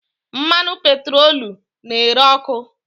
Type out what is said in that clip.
Mmanụ petroolu na-ere ọkụ.